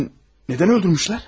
Bəs niyə öldürüblər?